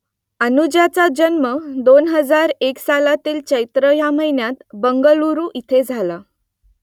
अनुजाचा जन्म दोन हजार एक सालातील चैत्र या महिन्यात बंगळूरू येथे झाला